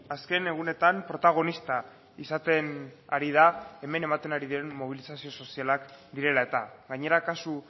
azken egunetan protagonista izaten ari da hemen ematen ari diren mobilizazio sozialak direla eta gainera kasu